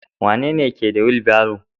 Wanene ke da wilbaron?